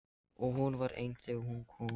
Og hún var ein þegar hún kom.